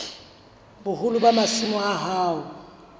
boholo ba masimo a hao